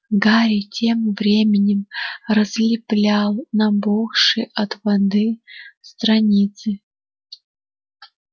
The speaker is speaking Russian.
гарри тем временем разлеплял набухшие от воды страницы